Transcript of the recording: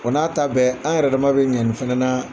O n'a ta bɛɛ an yɛrɛ dama bɛ ɲɛ nin fana na.